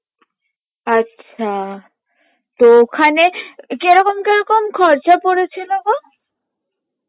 আচ্ছা তো ওখানে কেরকম কেরকম খরচা পরেছিল গো?